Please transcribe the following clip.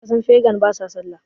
kasan fegan ba sa sallah